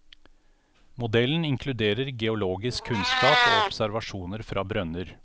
Modellen inkluderer geologisk kunnskap og observasjoner fra brønner.